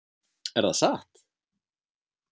Er það satt?